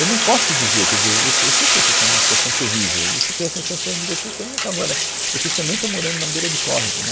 Eu não posso dizer, quer dizer, eu eu sei eu sei que vocês estão em uma situação terrível, eu se eu tivesse na situação de vocês, eu estaria falando, agora, vocês também estão morando na beira do córrego, né?